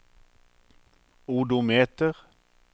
odometer